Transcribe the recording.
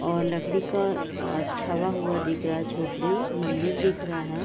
और लकड़ी का छारा हुआ दिख रहा है झोपड़ी मंदिर दिख रहा है।